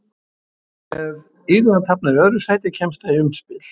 Ef Írland hafnar í öðru sæti kemst það í umspil.